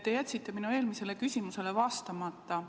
Te jätsite minu eelmisele küsimusele vastamata.